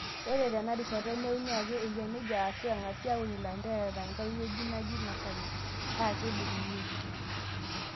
Ore teinarishata neuni ake eyia neija ashuu eng'asi aaun ilanterera tenkae wueji naji nasari, paa kidurrunyieki.